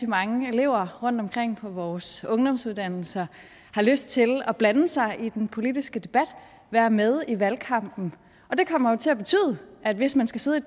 mange elever rundtomkring på vores ungdomsuddannelser har lyst til at blande sig i den politiske debat og være med i valgkampen det kommer jo til at betyde at hvis man skal sidde i